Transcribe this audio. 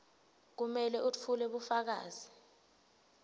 kumele wetfule bufakazi